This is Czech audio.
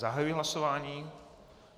Zahajuji hlasování.